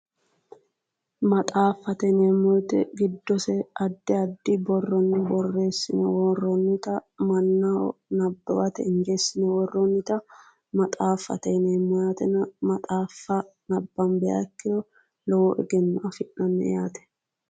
Maxaaffate yineemmo woyite giddose addi addi birronni borreessine worroonnita mannaho nabbawate injeessine worroonnita maxaaffate yineemmo yaatena maxaaffa nabbanbi ikkiro low egenno afi'nayi yaate.